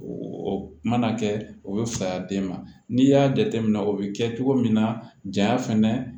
O mana kɛ o bɛ faya den ma n'i y'a jateminɛ o bɛ kɛ cogo min na ja fɛnɛ